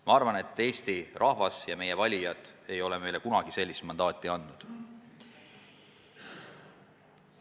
Ma arvan, et Eesti rahvas, meie valijad, ei ole meile kunagi sellist mandaati andnud.